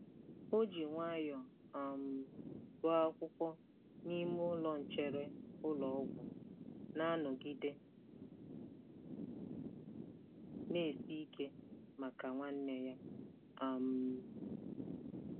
O ji nwayọọ um gụọ akwụkwọ n'ime ụlọ nchere ụlọ ọgwụ, na-anọgide na-esi ike maka nwanne ya. um